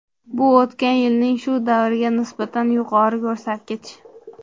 Bu o‘tgan yilning shu davriga nisbatan yuqori ko‘rsatkich.